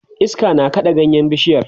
iska na kaɗa ganyen bishiyar